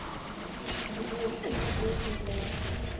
джой что такое шотландцы